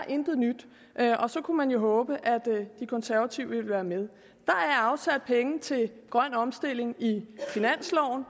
intet nyt er og så kunne man jo håbe at de konservative vil være med der er afsat penge til grøn omstilling i finansloven